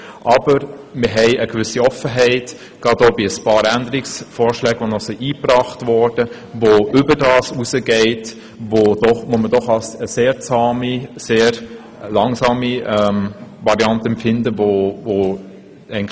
Aber wir empfinden eine gewisse Offenheit gegenüber ein paar Änderungsvorschlägen, die eingebracht wurden und die über das hinausgehen, was man doch als sehr zahme, langsame Veränderung empfindet.